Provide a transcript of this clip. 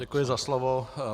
Děkuji za slovo.